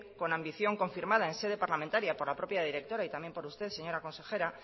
con ambición confirmada en sede parlamentaria por la propia directora y también por usted señora consejera